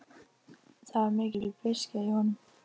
Það var mikil beiskja í honum.